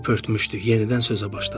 O öskürmüşdü, yenidən sözə başladı.